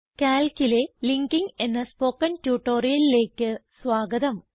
Calcലെ linking എന്ന spoken ട്യൂട്ടോറിയലിലേക്ക് സ്വാഗതം